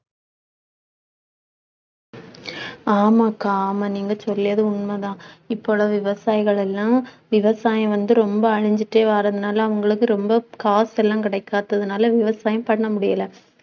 ஆமாக்கா ஆமா நீங்க சொல்லியது உண்மைதான். இப்பொழுது விவசாயிகள் எல்லாம் விவசாயம் வந்து ரொம்ப அழிஞ்சிட்டே வர்றதினால அவங்களுக்கு ரொம்ப காசு எல்லாம் கிடைக்காததினால விவசாயம் பண்ண முடியலை